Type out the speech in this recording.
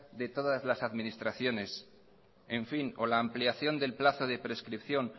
de todas las administraciones o la ampliación del plazo de prescripción